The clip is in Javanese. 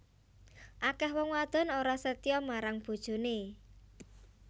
Akeh wong wadon ora setya marang bojone